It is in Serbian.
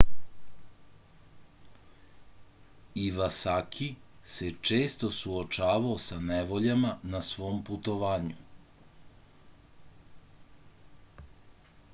ivasaki se često suočavao sa nevoljama na svom putovanju